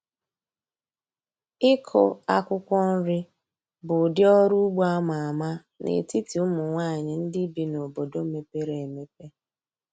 Ịkụ akwụkwọ nri bụ ụdị ọrụ ugbo a ma ama n’etiti ụmụ nwanyị ndị bi n’obodo mepere emepe.